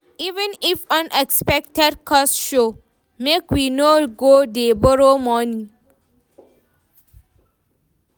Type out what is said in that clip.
Even if unexpected cost show, make we no go dey borrow money.